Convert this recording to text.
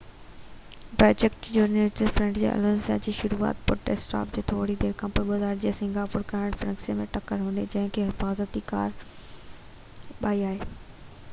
packet junior Fernando Alonso جي لاءِ شروعاتي پٽ اسٽاپ جي ٿوري دير کاپنوءِ 2008 جي سنگاپور گرانڊ پرڪس ۾ ٽڪر هنئي جنهن کان حفاظتي ڪار ٻار آئي